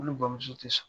Ne bamuso tɛ so